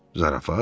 Zarafat?